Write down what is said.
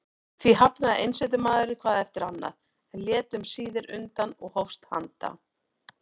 Því hafnaði einsetumaðurinn hvað eftir annað, en lét um síðir undan og hófst handa.